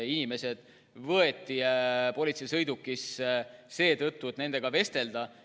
Inimesed võeti politseisõidukisse seetõttu, et nendega vestelda.